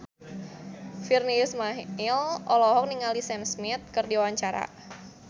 Virnie Ismail olohok ningali Sam Smith keur diwawancara